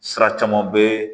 Sira caman bɛ